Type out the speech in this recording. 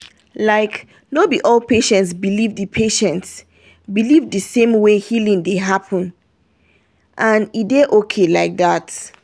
like no be all patients believe the patients believe the same way healing dey happen — and e dey okay like that.